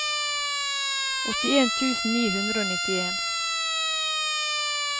åttien tusen ni hundre og nittien